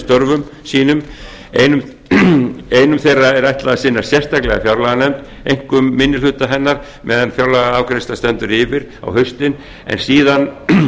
störfum sínum einum þeirra er ætlað að sinna sérstaklega fjárlaganefnd einkum minni hluta hennar meðan fjárlagaafgreiðsla stendur yfir á haustin en síðan